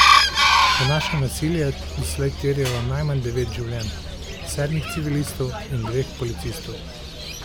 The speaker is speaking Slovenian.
Današnje nasilje je doslej terjalo najmanj devet življenj, sedmih civilistov in dveh policistov.